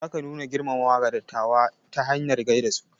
Zaka nuna girmamawa ga dattawa ta hanyar gaida su.